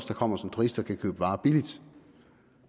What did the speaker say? der kommer som turister kan købe varer billigt